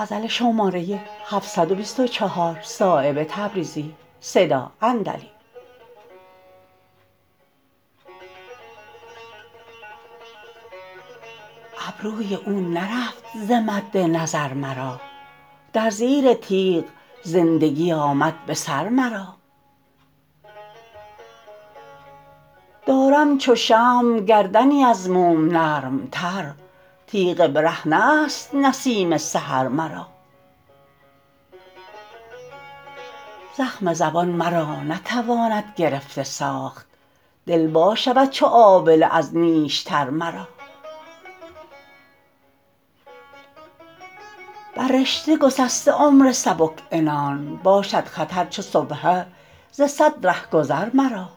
ابروی او نرفت ز مد نظر مرا در زیر تیغ زندگی آمد بسر مرا دارم چو شمع گردنی از موم نرمتر تیغ برهنه است نسیم سحر مرا زخم زبان مرا نتواند گرفته ساخت دل وا شود چو آبله از نیشتر مرا بر رشته گسسته عمر سبک عنان باشد خطر چو سبحه ز صد رهگذر مرا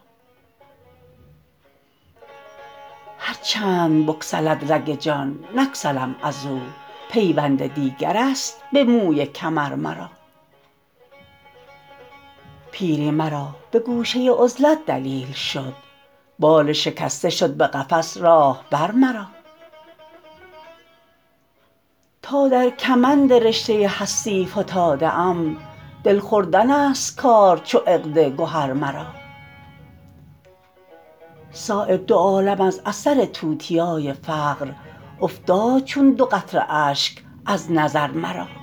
هر چند بگسلد رگ جان نگسلم ازو پیوند دیگرست به موی کمر مرا پیری مرا به گوشه عزلت دلیل شد بال شکسته شد به قفس راهبر مرا تا در کمند رشته هستی فتاده ام دل خوردن است کار چو عقد گهر مرا صایب دو عالم از اثر توتیای فقر افتاد چون دو قطره اشک از نظر مرا